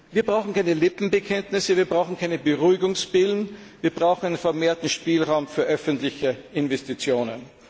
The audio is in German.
Wir brauchen keine Lippenbekenntnisse und keine Beruhigungspillen, wir brauchen einen vermehrten Spielraum für öffentliche Investitionen.